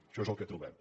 això és el que trobem